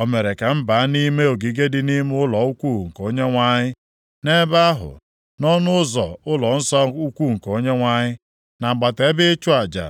O mere ka m baa nʼime ogige dị nʼime ụlọ ukwu nke Onyenwe anyị, nʼebe ahụ, nʼọnụ ụzọ ụlọnsọ ukwu nke Onyenwe anyị, nʼagbata ebe ịchụ aja